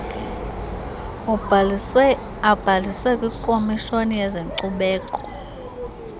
abhaliswe kwikomishoni yezenkcubeko